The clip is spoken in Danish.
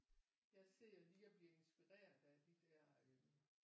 Jeg sidder lige og bliver inspireret af de der øh